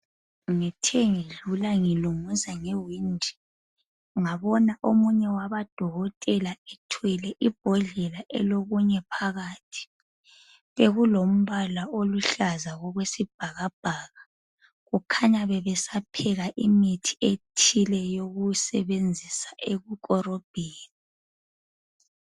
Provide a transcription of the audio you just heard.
Ngithe ngidlula ngilunguza ngewindi omunye wabodokotela ethwele imbodlela elokunye phakathi bekulombala oluhlaza okwesibhakabhaka kukhanya bebesapheka imithi ethile yokusebenzisa eyokukorobhisa